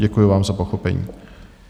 Děkuji vám za pochopení.